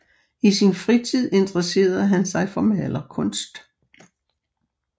I sin fritid interessede han sig for malerkunst